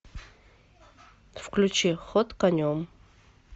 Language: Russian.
включи ход конем